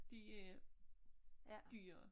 De er dyrere